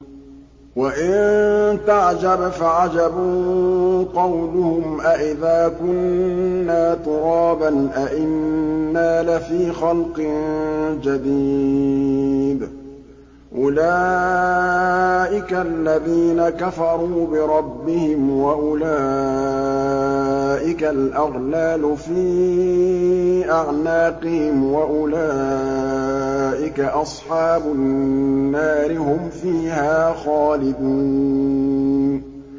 ۞ وَإِن تَعْجَبْ فَعَجَبٌ قَوْلُهُمْ أَإِذَا كُنَّا تُرَابًا أَإِنَّا لَفِي خَلْقٍ جَدِيدٍ ۗ أُولَٰئِكَ الَّذِينَ كَفَرُوا بِرَبِّهِمْ ۖ وَأُولَٰئِكَ الْأَغْلَالُ فِي أَعْنَاقِهِمْ ۖ وَأُولَٰئِكَ أَصْحَابُ النَّارِ ۖ هُمْ فِيهَا خَالِدُونَ